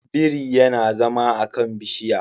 Biri yana zama a kan bishiya